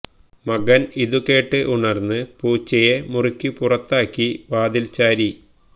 മകന് ഇതുകേട്ട് ഉണര്ന്നു പൂച്ചയെ മുറിക്കു പുറത്താക്കി വാതില് ചാരി